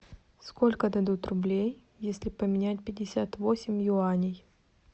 сколько дадут рублей если поменять пятьдесят восемь юаней